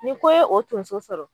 Ni ko ye o tonso sɔrɔ